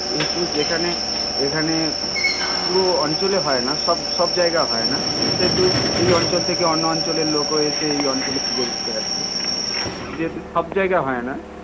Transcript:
কিন্তু যেখানে এখানে পুরো অঞ্চলে হয় না সব সব জায়গায় হয় না সেহেতু এ অঞ্চল থেকে অন্য অঞ্চল এর লোক ও এসে এই অঞ্চলে পুজো দেখতে আসে যেহেতু সব জায়গায় হয় না